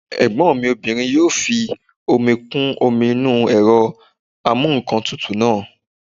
Ẹ̀gbọ́n mi obìnrin yóò fi omi kún omi inú ẹ̀rọ amúǹkantutù náà